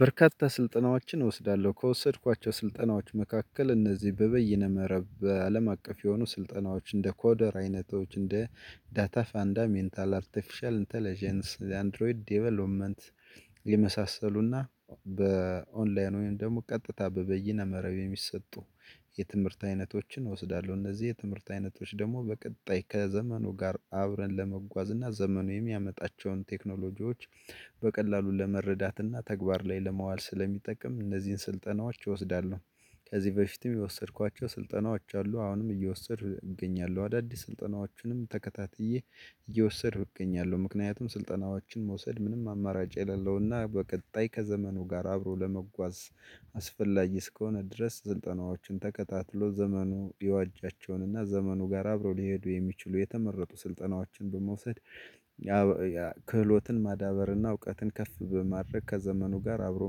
በርካታ ስልጠናዎችን እወስዳለሁ ከወሰድኳቸው ስልጠናዎች መካከል እነዚህ በበይነ መረብ አለም አቀፍ የሆኑ ስልጠናዎች እንደ ኮደር አይነቶች እንደ ዳታ ፋንዳ ሜንታል አርቲፊሻል ኢንተለጀንስ የአንድሮይድ ዴቨሎፕመንት የመሳሰሉና በኦንላይን ወይም ደግሞ ቀጥታ በበይነ መረብ የሚሰጡ የትምህርት አይነቶችን እወስዳለሁ እነዚህ የትምህርት አይነቶች ደግሞ በቀጣይ ከዘመኑ ጋር አብረን ለመጓዝ እና ዘመኑ የሚያመጣቸውን ቴክኖሎጂዎች በቀላሉ ለመረዳት እና ተግባር ላይ ለማዋል ስለሚጠቀም እነዚህን ስልጠናዎች እወስዳለሁ። ከዚህ በፊትም የወሰድኳቸው ስልጠናዎች አሉ አሁንም እየወሰድኩ እገኛለሁ አዳዲስ ስልጠናዎችንም ተከታትዬ እየወሰድኩ እገኛለሁ። ምክንያቱም ስልጠናዎችን መውሰድ ምንም አማራጭ የሌለውና በቀጣይ ከዘመኑ ጋር አብሮ ለመጓዝ አስፈላጊ እስከሆነ ድረስ ስልጠናዎችን ተከታትሎ ዘመኑ የዋጃቸውን እና ዘመኑ ጋር አብረው ሊሄዱ የሚችሉ የተመረጡ ስልጠናዎችን በመውሰድ። ክህሎትን ማዳበርና እውቀትን ከፍ በማድረግ ከዘመኑ ጋር አብሮ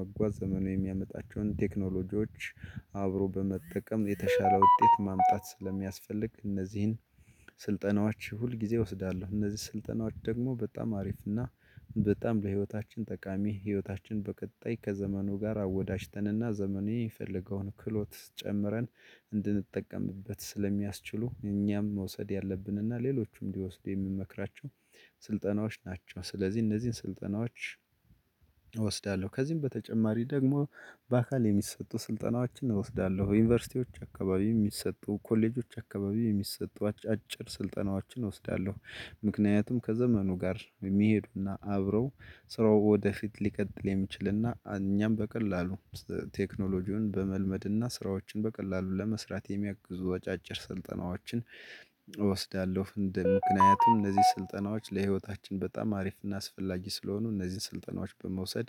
መጓዝ ዘመኑ የሚያመጣቸውን ቴክኖሎጂዎች አብሮ በመጠቀም የተሻለ ውጤት ማምጣት ስለሚያስፈልግ እነዚህን ስልጠናዎች ሁል ጊዜ እወስዳለሁ። እነዚህ ስልጠናዎች ደግሞ በጣም አሪፍ እና በጣም ለህይወታችን ጠቃሚ ህይወታችን በቀጣይ ከዘመኑ ጋር አወዳጅተንና ዘመኑ የፈለገውን ክሎት ጨምረን እንድንጠቀምበት ስለሚያስችሉ እኛም መውሰድ ያለብን እና ሌሎቹም እንዲወስድ የምመክራቸው ስልጠናዎች ናቸው። ስለዚህ እነዚህን ስልጠናዎች እወስዳለሁ ከዚህም በተጨማሪ ደግሞ በአካል የሚሰጡ ስልጠናዎችን እወስዳለሁ። ዩኒቨርሲቲዎች አካባቢ የሚሰጡ ኮሌጆች አካባቢ የሚሰጠው አጫጭር ስልጠናዎችን እወስዳለሁ። ምክንያቱም ከዘመኑ ጋር የሚሄዱና አብረው ስራው ወደፊት ሊቀጥል የሚችልና እኛም በቀላሉ ቴክኖሎጂውን በመልመድና ስራዎችን በቀላሉ ለመስራት የሚያግዙ አጫጭር ስልጠናዎችን እወስዳለሁ። ፍንድን ምክንያቱም እነዚህ ስልጠናዎች ለህይወታችን በጣም አሪፍና አስፈላጊ ስለሆኑ እነዚህን ስልጠናዎች በመውሰድ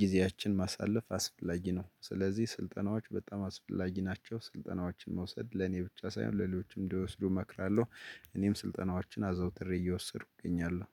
ጊዜያችን ማሳለፍ አስፈላጊ ነው። ስለዚህ ስልጠናዎች በጣም አስፈላጊ ናቸው። ስልጠናዎችን መውሰድ ለኔ ብቻ ሳይሆን ሌሎችም እንዲወስዱ እመክራለሁ። እኔም ስልጠናዎቻችን አዘውትሬ እየወሰዱ እገኛለሁ